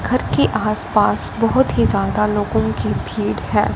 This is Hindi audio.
घर के आसपास बहोत ही ज्यादा लोगों की भीड़ है।